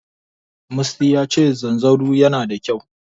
Musty yace zanzaro yana da kyau.